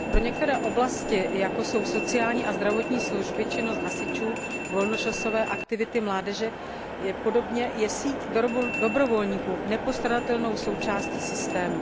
Pro některé oblasti, jako jsou sociální a zdravotní služby, činnost hasičů, volnočasové aktivity mládeže a podobně, je síť dobrovolníků nepostradatelnou součástí systému.